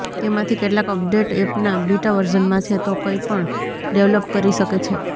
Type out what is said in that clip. તેમાંથી કેટલાક અપડેટ એપના બીટા વર્ઝનમાં છે તો કંઈપણ ડેવલપ કરી શકે છે